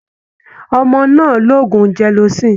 Ọmọ náà ń lo oògùn gelocin.